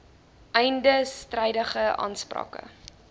einde strydige aansprake